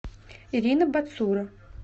ирина бацура